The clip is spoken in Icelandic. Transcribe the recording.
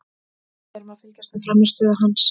Við erum að fylgjast með frammistöðu hans.